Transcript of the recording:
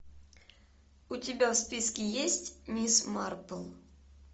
у тебя в списке есть мисс марпл